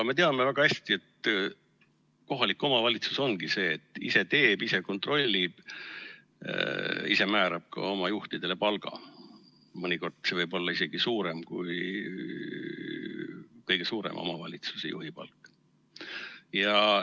Me teame väga hästi, et kohalik omavalitsus ongi see, et ise teeb, ise kontrollib, ise määrab ka oma juhtidele palga – mõnikord võib see olla isegi suurem kui kõige suurema omavalitsuse juhi palk.